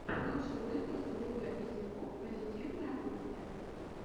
лучший выпуск людаизикук позитивная кухня